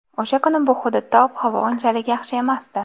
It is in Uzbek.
O‘sha kuni bu hududda ob-havo unchalik yaxshi emasdi.